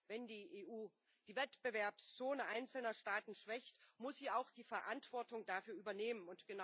Wenn die EU die Wettbewerbszone einzelner Staaten schwächt, muss sie auch die Verantwortung dafür übernehmen.